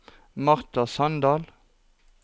Marta Sandal